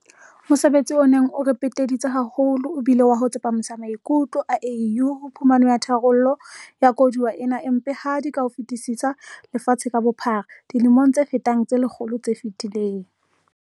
Mosebetsi o neng o re peteditse haholo e bile wa ho tsepamisa maikutlo a AU ho phumano ya tharollo ya koduwa ena e mpehadi ka ho fetisisa lefatshe ka bophara dilemong tse fetang tse lekgolo tse fetileng.